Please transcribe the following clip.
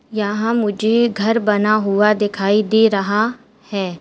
यहां मुझे घर बना हुआ दिखाई दे रहा है।